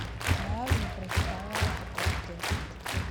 я не прочитала такой текст